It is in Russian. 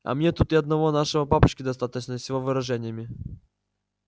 а мне тут и одного нашего папочки достаточно с его выражениями